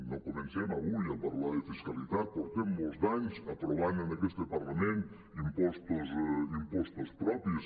no comencem avui a par·lar de fiscalitat portem molts d’anys aprovant en aquest parlament impostos propis